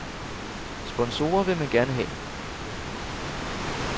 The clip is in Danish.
Sponsorer vil man gerne have.